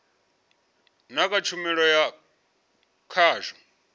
na kha tshumelo ya khasho